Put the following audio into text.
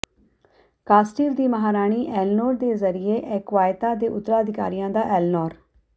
Castile ਦੀ ਮਹਾਰਾਣੀ Eleanor ਦੇ ਜ਼ਰੀਏ ਐਕੁਵਾਇਤਾ ਦੇ ਉੱਤਰਾਧਿਕਾਰੀਆਂ ਦਾ ਐਲਨੋਰ